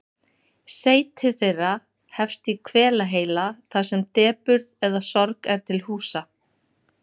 Seyti þeirra hefst í hvelaheila þar sem depurð eða sorg er til húsa.